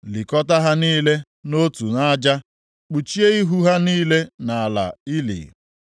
Likọta ha niile nʼotu nʼaja, kpuchie ihu ha niile nʼala ili.